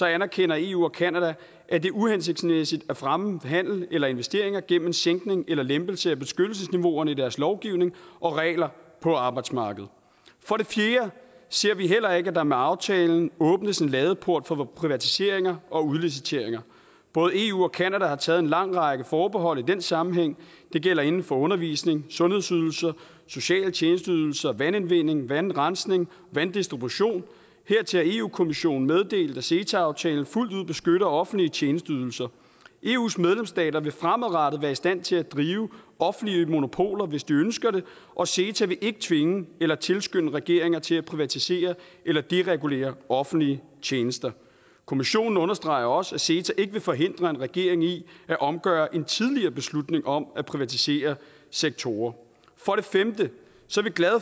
anerkender eu og canada at det er uhensigtsmæssigt at fremme handel eller investeringer gennem en sænkning eller lempelse af beskyttelsesniveauerne i deres lovgivning og regler på arbejdsmarkedet for det fjerde ser vi heller ikke at der med aftalen åbnes en ladeport for privatiseringer og udliciteringer både eu og canada har taget en lang række forbehold i den sammenhæng det gælder inden for undervisning sundhedsydelser sociale tjenesteydelser vandudvinding vandrensning vanddistribution hertil har eu kommissionen meddelt at ceta aftalen fuldt ud beskytter offentlige tjenesteydelser eus medlemsstater vil fremadrettet være i stand til at drive offentlige monopoler hvis de ønsker det og ceta vil ikke tvinge eller tilskynde regeringer til at privatisere eller deregulere offentlige tjenester kommissionen understreger også at ceta ikke vil forhindre en regering i at omgøre en tidligere beslutning om at privatisere sektorer